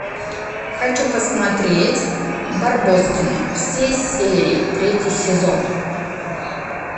хочу посмотреть барбоскины все серии третий сезон